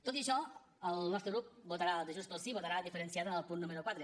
tot i això el nostre grup votarà el de junts pel sí diferenciat en el punt número quatre